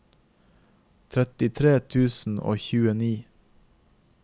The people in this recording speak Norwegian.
trettitre tusen og tjueni